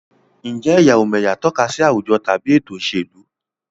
Ǹjẹ́ ẹ̀yà-ò-m'ẹ̀yà tọ́ka sí àwùjọ tàbí ètò ìṣèlú?